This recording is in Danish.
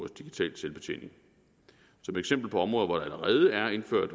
digital selvbetjening som eksempler på områder hvor der allerede er indført